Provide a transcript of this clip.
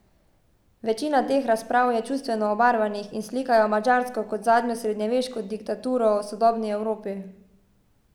Večina teh razprav je čustveno obarvanih in slikajo Madžarsko kot zadnjo srednjeveško diktaturo v sodobni Evropi.